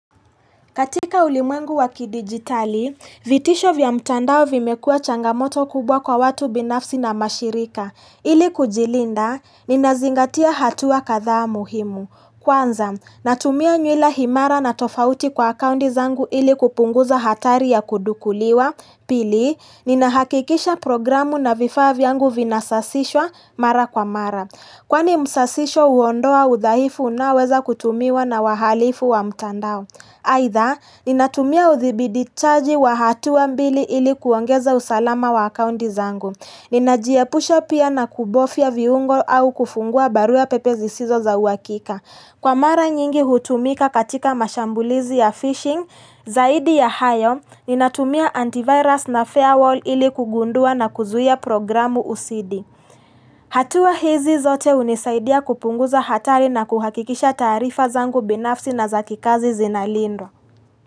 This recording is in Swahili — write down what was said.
Katika ulimwengu wakidigitali, vitisho vya mtandao vimekua changamoto kubwa kwa watu binafsi na mashirika. Ili kujilinda, ninazingatia hatua kathaa muhimu. Kwanza, natumia nywila himara na tofauti kwa akundi zangu ili kupunguza hatari ya kudukuliwa. Pili, ninahakikisha programu na vifaa vyangu vinasasishwa mara kwa mara. Kwani msasisho huondoa udhaifu unaoweza kutumiwa na wahalifu wa mtandao. Aitha, ninatumia uthibiditaji wa hatuwa mbili ili kuongeza usalama wa akunti zangu. Ninajiepusha pia na kubofia viungo au kufungua barua pepe zi sizo za uakika. Kwa mara nyingi hutumika katika mashambulizi ya phishing, zaidi ya hayo, ninatumia antivirus na firewall ili kugundua na kuzuia programu usidi. Hatuwa hizi zote unisaidia kupunguza hatari na kuhakikisha taarifa zangu binafsi na zakikazi zinalindo.